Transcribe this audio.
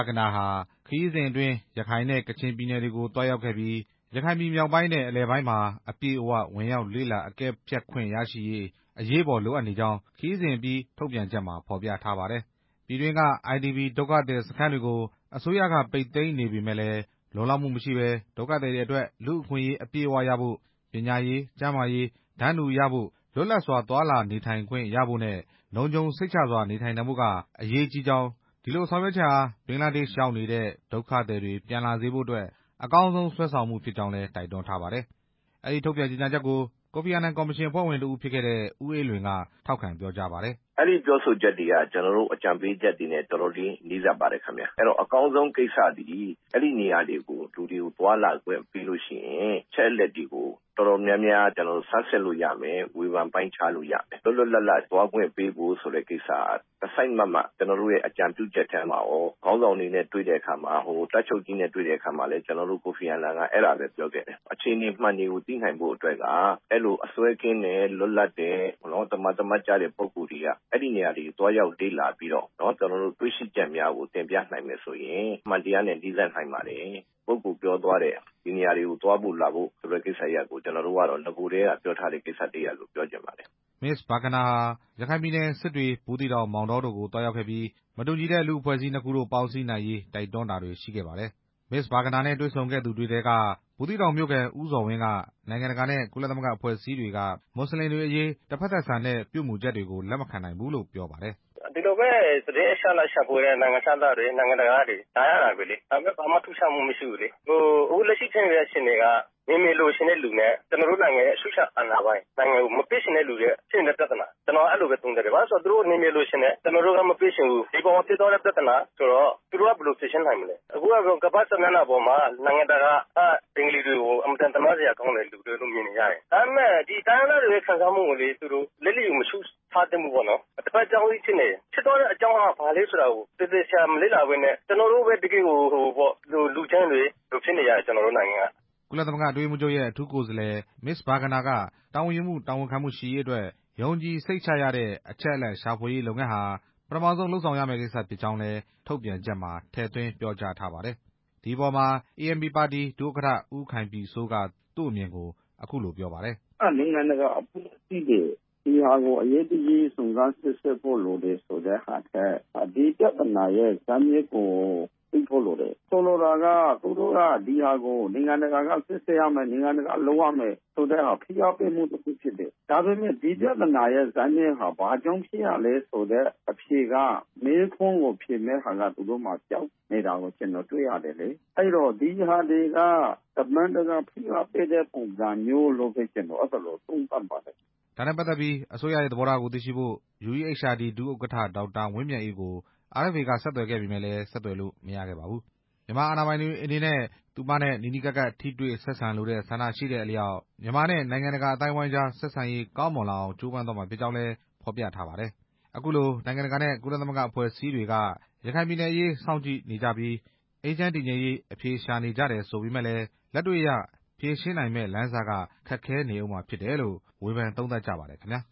ဂနာဟာ ခရီးစဉ်အတွင်း ရခိုင်နဲ့ ကချင်ပြည်နယ်တွေကို သွားရောက်ခဲ့ပြီး ရခိုင်ပြည်မြောက်ပိုင်းနဲ့ အလယ်ပိုင်းမှာ အပြည့်အ၀ ဝင်ရောက် လေ့လာအကဲဖြတ်ခွင့်ရရှိရေး အရေးပေါ် လိုအပ်နေကြောင်း ခရီးစဉ်အပြီး ထုတ်ပြန်ချက်မှာ ဖော်ပြထားပါတယ်။ ပြည်တွင်းက IDP ဒုက္ခသည်စခန်းတွေကို အစိုးရက ပိတ်သိမ်းနေပေမယ့်လည်း လုံလောက်မှုမရှိဘဲ ဒုက္ခသည်တွေ အတွက် လူ့အခွင့်အရေး အပြည့်အဝရဖို့၊ ပညာရေး ၊ ကျန်းမာရေး တန်းတူရဖို့၊ လွတ်လပ်စွာ သွားလာနေထိုင်ခွင့် ရဖို့နဲ့ လုံခြုံစိတ်ချစွာနေထိုင်နိုင်ဖို့ဟာ အရေးကြီးကြောင်း၊ ဒီလိုဆောင်ရွက် ချက်ဟာ ဘင်္ဂလားဒေ့ရှ်ရောက်နေတဲ့ ဒုက္ခသည်တွေပြန်လာစေဖို့အတွက် အကောင်းဆုံးဆွဲဆောင်မှု ဖြစ်ကြောင်းလည်း တိုက်တွန်းထားပါတယ်။ အဲဒီထုတ်ပြန်ကြေညာချက်ကို ကိုဖီအာနန်ကော်မရှင် အဖွဲ့ဝင်တစ်ဦးဖြစ်ခဲ့တဲ့ ဦးအေးလွင်က ထောက်ခံ ပြောကြားပါတယ်။ "အဲဒီပြောဆိုချက်တွေက ကျနော်တို့ အကြံပေးချက်တွေနဲ့ တော်တော်လေးနီးစပ်ပါတယ်၊ အကောင်းဆုံးကိစ္စသည် အဲဒီနေရာတွေကို လူတွေကို သွားလာခွင့်ပေးရင် အချက်အလက်တွေကို တော်တော်များများ ဆန်းစစ်လို့ရမယ်၊ ဝေဖန်ပိုင်းခြားလို့ရမယ်၊ လွတ်လွတ်လပ်လပ်သွားခွင့်ပေးဖို့ ကိစ္စက တစ်စိုက်မတ်မတ် ကျနော်တို့ရဲ့ အကြံပြုချက်ထဲမှာရော ခေါင်းဆောင်တွေနဲ့ တွေ့တဲ့အခါမှာ ဟို တပ်ချုပ်ကြီးနဲ့တွေ့ရာမှာ ကိုဖီအာနန်က အဲဒါပဲပြောခဲ့တယ်၊ အခြေအနေမှန်တွေကို သိနိုင်ဖို့အတွက်က အစွဲကင်းတယ် လွတ်လပ်တယ် သမာသမတ် ကျတဲ့ ပုဂ္ဂိုလ်တွေက အဲဒီနေရာတွေကို သွားရောက်လေ့လာပြီးတော့ တွေ့ရှိချက်တွေကို တင်ပြနိုင်မယ်ဆိုရင် အမှန်တရားနဲ့ နီးစပ်နိုင်ပါတယ်၊ ဒီပုဂ္ဂိုလ်ပြောသွားတဲ့ကိစ္စကို ကျနော်တို့ နဂိုကတည်းက ပြောခဲ့တဲ့ကိစ္စတစ်ရပ်လို့ ပြောချင်ပါတယ်" မစ္စ ဘာဂနာဟာ ရခိုင်ပြည်နယ် စစ်တွေ၊ ဘူးသီးတောင်၊ မောင်တော တို့ကို သွားရောက်ခဲ့ပြီး မတူညီတဲ့ လူ့အဖွဲ့အစည်းနှစ်ခုတို့ ပေါင်းစည်းနိုင်ရေး တိုက်တွန်းတာတွေ ရှိခဲ့ပါတယ်။ မစ္စ ဘာဂနာနဲ့ တွေ့ဆုံခဲ့သူတွေထဲက ဘူးသီးတောင်မြို့ခံ ဦးဇော်ဝင်းက နိုင်ငံတကာနဲ့ ကုလသမဂ္ဂ အဖွဲ့အစည်းတွေက မွတ်စလင်တွေအရေး တစ်ဖက်သက်ဆန်တဲ့ ပြုမူချက်တွေကို လက်မခံနိုင်ဘူးလို့ ပြောပါတယ်။ "ဒီလိုပဲ သတင်းအချက်အလက်ရှာဖွေနေတဲ့ နိုင်ငံတကာက နိုင်ငံခြားသားတွေ လာရင်လည်းဘာမှထူးခြား မှုမရှိဘူးလေ၊ အခုလက်ရှိဖြစ်နေတဲ့အခြေအနေက နယ်မြေလိုချင်တဲ့သူနဲ့ ကျနော်တို့နိုင်ငံရဲ့ အချုပ် အခြာအာဏာ မဖြစ်ချင်တဲ့ပြဿနာ အဲဒီပဲသုံးသပ်တယ်၊ သူတို့နယ်မြေလိုချင်တယ် ကျနော်တို့ မပေးချင်ဘူး ဒီအပေါ်မှာ ဖြစ်သွားတဲ့ ပြဿနာဆိုတော့ သူတို့က ဘယ်လိုဖြေရှင်းနိုင်မလဲ၊ အခုက ကမ္ဘာ့စာမျက်နှာမှာ နိုင်ငံတကာက ဘင်္ဂလီတွေကို အင်မတန်သနားစရာကောင်းတဲ့ သူတွေလို့မြင်နေ ကြတယ် ဒါပေမဲ့ တိုင်းရင်းသားတွေရဲ့ခံစားမှု ကိုလည်း လျစ်လျူမရှုထားသင့်ဘူးပေါ့နော်၊ တစ်ဖက် စောင်းနင်း ဖြစ်နေတယ်၊ တစ်ဖက်က ဘာလဲဆိုတာကို သေသေချာချာမလေ့လာဘဲနဲ့ ကျနော်တို့ပဲ တစ်ကယ်ကို လူကြမ်းတွေဖြစ်နေရတယ် ကျနော်တို့နိုင်ငံက" ကုလသမဂ္ဂ အတွင်းရေးမှူးချုပ်ရဲ့ အထူးကိုယ်စားလှယ် မစ ္စဘာဂနာက တာဝန်ယူမှု တာဝန်ခံမှုရှိရေး အတွက် ယုံကြည်စိတ်ချရတဲ့ အချက်အလက်ရှာဖွေရေးလုပ်ငန်းဟာ ပထမဆုံး လုပ်ဆောင်ရမယ့် ကိစ္စဖြစ်ကြောင်းလည်း ထုတ်ပြန်ချက်မှာ ထည့်သွင်းပြောကြားထားပါတယ်။ ဒီအပေါ်မှာ ANP ပါတီ ဒုတိယ ဥက္ကဋ္ဌ ဦးခိုင်ပြည်စိုးက သူ့အမြင်ကို အခုလိုပြောပါတယ်။ "နိုင်ငံတကာအဖွဲ့အစည်းတွေ ဒီဟာကို အရေးတကြီး စုံစမ်းစစ်ဆေးဖို့ လိုတဲ့ဟာထက် ဒီပြဿနာရဲ့ ဇစ်မြစ်ကို သိဖို့လိုတယ်၊ ဆိုလိုတာက သူတို့က နိုင်ငံတကာက စစ်ဆေးရမယ် နိုင်ငံတကာက လုပ်ရ မယ်ဆိုတာ ဖိအားပေးမှုဖြစ်တယ်၊ ဒါပေမဲ့ ဒီပြဿနာရဲ့ ဇစ်မြစ်ဟာ ဘာကြောင့်ဖြစ်ရတယ် ဆိုတဲ့ အဖြေက မေးခွန်းကို ဖြေရမယ်ဆိုတာ ပျောက်နေတာကို ကျနော်တွေ့ရတယ်လေ၊ ဒီဟာတွေက နိုင် ငံတကာ ဖိအားပေးတဲ့ပုံစံမျိုးလို့ပဲ ကျနော်အဲလိုသုံးသပ်ပါတယ်" ဒါနဲ့ပတ်သက်ပြီး အစိုးရရဲ့ သဘောထားကို သိရှိဖို့ UEHRD ဒုတိယ ဥက္ကဋ္ဌ ဒေါက်တာဝင်းမြတ်အေးကို RFA က ဆက်သွယ်ပေမယ့် ဆက်သွယ်လို့မရခဲ့ပါဘူး။ မြန်မာအာဏာပိုင်တွေအနေနဲ့ သူမနဲ့ နီးနီးကပ်ကပ် ထိတွေ့ဆက်ဆံလိုတဲ့ ဆန္ဒရှိတဲ့အလျောက် မြန်မာနဲ့နိုင်ငံ တကာအသိုင်းဝိုင်းကြား ဆက်ဆံရေး ကောင်းမွန်လာအောင် ကြိုးပမ်းသွားမှာဖြစ်ကြောင်းလည်း ဖော်ပြထားပါတယ်။ အခုလို နိုင်ငံတကာနဲ့ ကုလသမဂ္ဂအဖွဲ့အစည်းတွေက ရခိုင်ပြည်နယ်အရေးစောင့်ကြည့်နေကြပြီး အေးချမ်း တည်ငြိမ်ရေး အဖြေရှာနေကြတယ်လို့ ဆိုပေမယ့်လည်း လက်တွေ့အရ ဖြေရှင်းနိုင်မယ့်လမ်းစက ခက်ခဲနေဦးမှာ ဖြစ်တယ်လို့ ဝေဖန်သုံးသပ်ကြပါတယ်ခင်ဗျာ